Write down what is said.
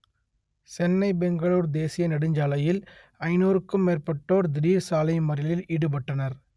சென்னை பெங்களூர் தேசிய நெடுஞ்சாலையில் ஐனூறுக்கும் மேற்பட்டோர் திடீர் சாலை மறியலில் ஈடுபட்டனர்